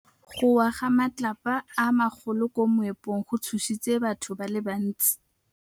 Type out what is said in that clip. Go wa ga matlapa a magolo ko moepong go tshositse batho ba le bantsi.